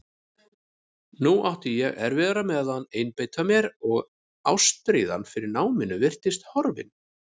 Nú átti ég erfiðara með að einbeita mér og ástríðan fyrir náminu virtist horfin.